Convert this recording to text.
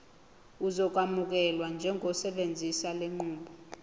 uzokwamukelwa njengosebenzisa lenqubo